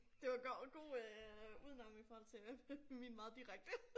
Det var et godt god øh udenom i forhold til min meget direkte